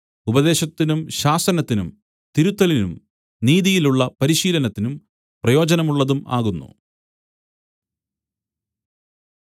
ഉപദേശത്തിനും ശാസനത്തിനും തിരുത്തലിനും നീതിയിലുള്ള പരിശീലനത്തിനും പ്രയോജനമുള്ളതും ആകുന്നു